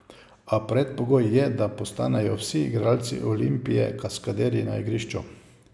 A predpogoj je, da postanejo vsi igralci Olimpije kaskaderji na igrišču.